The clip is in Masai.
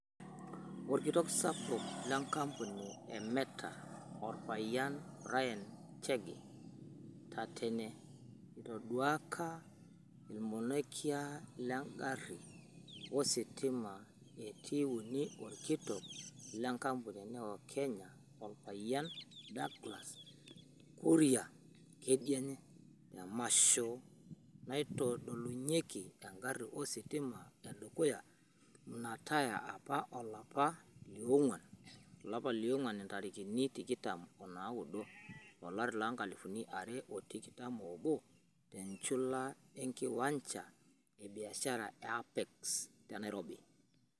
Olkitok sapuk le nkampuni e Meta olpayian Brian Chege (Tatene), itoduaka ilmonekia le garii ositima e T3 olkitok le nkampuni e Neo Kenya Olpayian Douglas Kuria (Kedienye) temasho naitodolunyaiki egari ositima edukuya nnatay apa olapa lionguan, intarikini tikitam o naudo, olari loonkalifuni are o tikitam oobo te njula enkiwancha e biashara e Apex te Nairobi.